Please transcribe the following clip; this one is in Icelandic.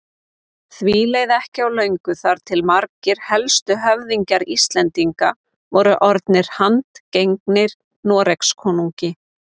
Því leið ekki á löngu þar til margir helstu höfðingjar Íslendinga voru orðnir handgengnir Noregskonungi.